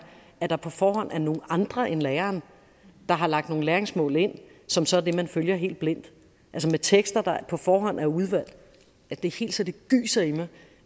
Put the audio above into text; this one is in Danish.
at der på forhånd er nogle andre end læreren der har lagt nogle læringsmål ind som så er det man følger helt blindt altså med tekster der på forhånd er udvalgt er det helt så det gyser i mig